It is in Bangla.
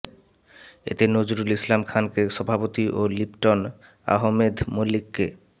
এতে নজরুল ইসলাম খানকে সভাপতি ও লিপটন আহমেদ মল্লিককে